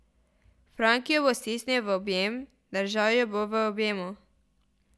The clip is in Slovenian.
Frank jo bo stisnil v objem, držal jo bo v objemu.